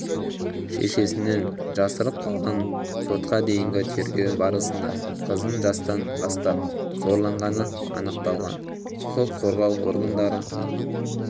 шешесінен жасырып қалған сотқа дейінгі тергеу барысында қыздың жастан бастап зорланғаны анықталған құқық қорғау органдары